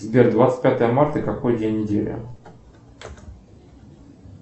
сбер двадцать пятое марта какой день недели